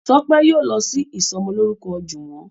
Tope yíò lọ sì ìsomo lórúko juwon.